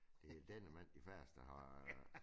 Det det normalt de færreste der